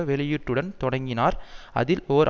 வெளியீட்டுடன் தொடங்கினார் அதில் ஓர்